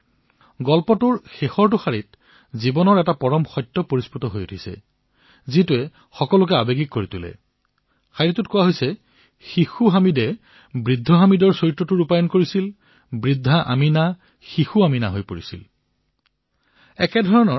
এই কাহিনীৰ শেষৰটো শাৰীয়ে ভাবুক কৰি তোলে কিয়নো তাতে জীৱনৰ এক ডাঙৰ সত্য লুকাই আছে শিশু হামিদে বৃদ্ধ হামিদৰ ভাও লৈছিল বৃদ্ধা আমীনা শিশু আমীনালৈ ৰূপান্তৰিত হৈছিল